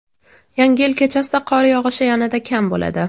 Yangi yil kechasida qor yog‘ishi yanada kam bo‘ladi.